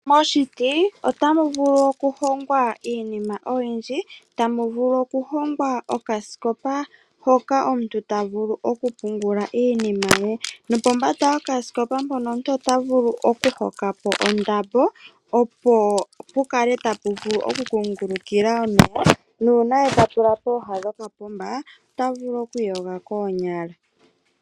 Moshiti otamu vulu oku hongwa iinima oyindji, tamu vulu oku hongwa okasikopa hoka omuntu ta vulu oku pungula iinima ye. Nopombanda yokasikopa mpono omuntu ota vulu oku hokapo ondambo opo pu kale tapu vulu oku kungulukila omeya, nuuna eka tula pooha dhokapomba ota vulu oku iyoga koonyala.